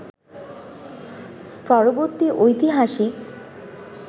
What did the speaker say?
পরবর্তী ঐতিহাসিক